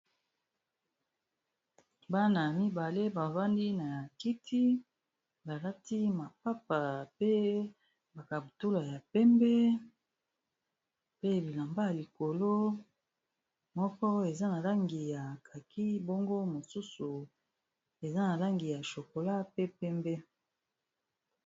Bana ya mibale bavandi na ya kiti balati mapapa pe bakabutula ya pembe pe bilamba ya likolo moko eza na langi ya kaki bongo mosusu eza na langi ya shokola pe pembe.